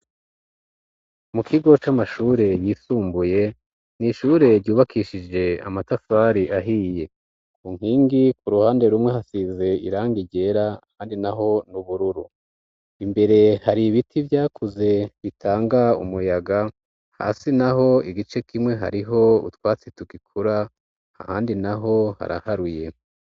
Mu kigo c'amashure yisumbuye n'ishure ryubakishije amatafari ahiye ku nkingi ku ruhande rumwe hasize irangi ryera handi naho n'ubururu imbere hari ibiti vyakuze bitanga umuyaga hasi naho igice kimwe hariho utwatsi tugikura ahandi naho haraharuye.